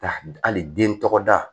Hali den tɔgɔda